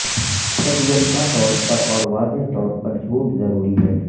سب یکساں طور پر اور واضح طور پر جھوٹ ضروری ہے